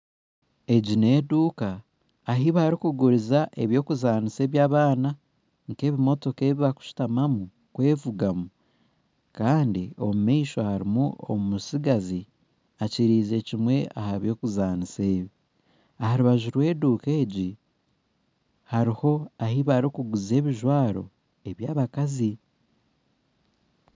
Egi n'eduuka ahi barikuguriza eby'okuzaanisa eby'abaanaa nk'ebimotoka ebibarikushutamamu kwevuga Kandi omu maisho hariho omutsigazi akiriize kimwe aha by'okuzaanisa ebyo. Aha rubaju rw'eduuka egi hariho ahi barikuguza ebijwaro eby'abakazi.